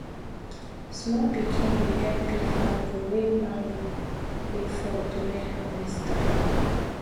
small pikin dey help pick mango wey mango wey fall during harvest time